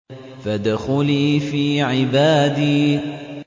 فَادْخُلِي فِي عِبَادِي